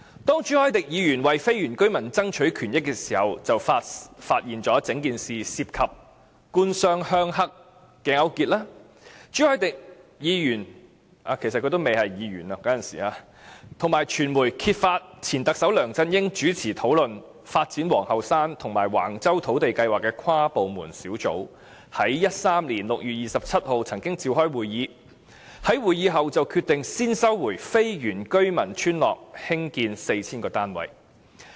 當朱凱廸議員為非原居民爭取權益時，便發現整件事涉及"官商鄉黑"勾結，朱凱廸議員及傳媒揭發前特首梁振英領導的討論發展皇后山及橫洲土地計劃的跨部門小組，曾於2013年6月27日召開會議，在會議後便決定先收回非原居民村落興建 4,000 個單位。